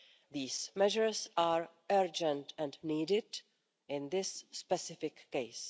These measures are urgent and needed in this specific case.